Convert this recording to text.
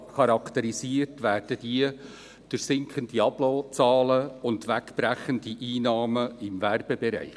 Diese werden charakterisiert durch sinkende Abonnementszahlen und wegbrechende Einnahmen im Werbebereich.